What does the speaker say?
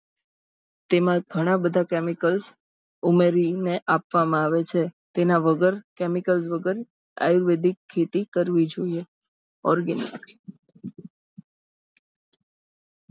તેમાં ઘણાં બધાં chemicals ઉમેરીને આપવામાં આવે છે તેના વગર chemicals વગર આયુર્વેદિક ખેતી કરવી જોઈએ organic